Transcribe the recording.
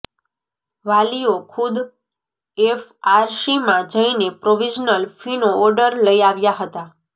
વાલીઓ ખુદ એફઆરસીમાં જઈને પ્રોવિઝનલ ફીનો ઓર્ડર લઈ આવ્યા હતા